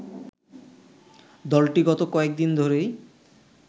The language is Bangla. দলটি গত কয়েক দিন ধরেই